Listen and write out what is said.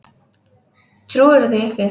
Trúirðu því ekki?